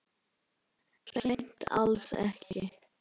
Hreint alls ekki.